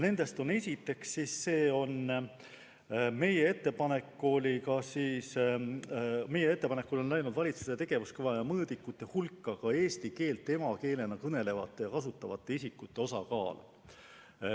Esiteks, meie ettepanekul on läinud valitsuse tegevuskavva ja mõõdikute hulka ka eesti keelt emakeelena kõnelevate ja kasutavate isikute osakaal.